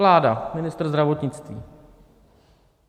Vláda, ministr zdravotnictví.